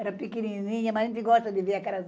Era pequenininha, mas a gente gosta de ver aquelas